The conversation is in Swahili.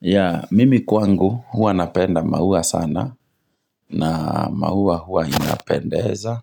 Yaa mimi kwangu huwa napenda maua sana na maua huwa inapendeza